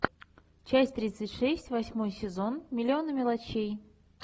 часть тридцать шесть восьмой сезон миллионы мелочей